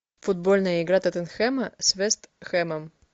футбольная игра тоттенхэма с вест хэмом